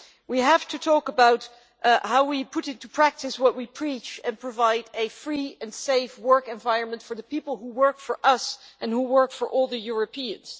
We have to talk about how we put into practice what we preach, and provide a free and safe working environment for the people who work for us and for all Europeans.